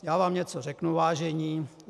Já vám něco řeknu, vážení.